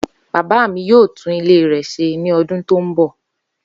Baba mi yoo tun ile rẹ ṣe ni ọdun to nbọ.